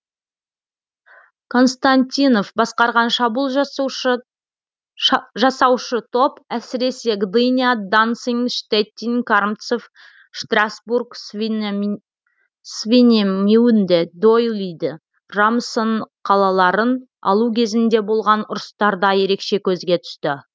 константинов басқарған шабуыл жасаушы топ әсіресе гдыня данцинг штеттин кармцев штрасбург свинемюнде доилиды ромсан кқалаларын алу кезінде болған ұрыстарда ерекше көзге түсті